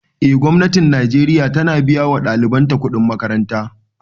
Eh gwamnatin najeriya ta na biya wa ɗaliban ta kuɗin makaranta